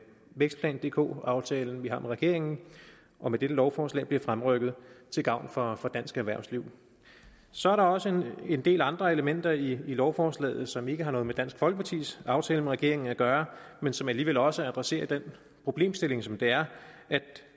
vækstplan dk aftalen vi har med regeringen og med dette lovforslag bliver fremrykket til gavn for dansk erhvervsliv så er der også en del andre elementer i lovforslaget som ikke har noget med dansk folkepartis aftale med regeringen at gøre men som alligevel også adresserer den problemstilling som det er at